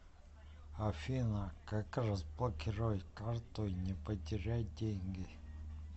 афина как разблокировать карту и не потерять деньги